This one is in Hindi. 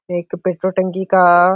एक पेट्रोल टंकी का --